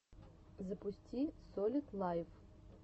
запусти солид лайв